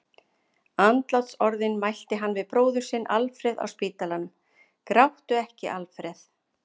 Andlátsorðin mælti hann við bróður sinn Alfreð á spítalanum: Gráttu ekki, Alfreð!